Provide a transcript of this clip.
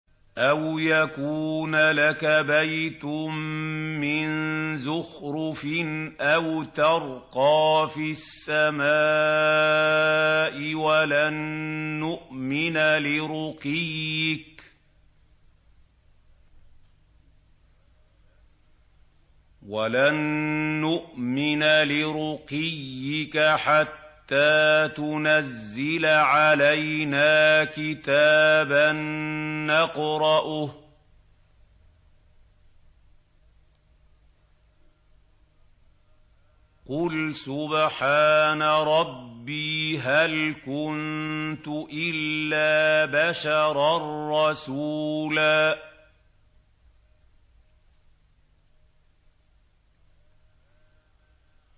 أَوْ يَكُونَ لَكَ بَيْتٌ مِّن زُخْرُفٍ أَوْ تَرْقَىٰ فِي السَّمَاءِ وَلَن نُّؤْمِنَ لِرُقِيِّكَ حَتَّىٰ تُنَزِّلَ عَلَيْنَا كِتَابًا نَّقْرَؤُهُ ۗ قُلْ سُبْحَانَ رَبِّي هَلْ كُنتُ إِلَّا بَشَرًا رَّسُولًا